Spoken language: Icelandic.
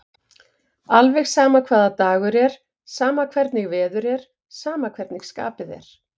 Alveg sama hvaða dagur er, sama hvernig veður er, sama hvernig skapið er.